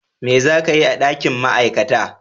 Me za ka yi a dakin Ma'aikata?